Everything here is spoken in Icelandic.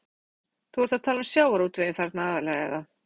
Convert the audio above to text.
Brynja Þorgeirsdóttir: Þú ert að tala um sjávarútveginn þarna aðallega, eða?